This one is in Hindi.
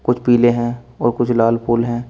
पीले हैं और कुछ लाल फूल हैं।